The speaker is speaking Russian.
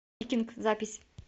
викинг запись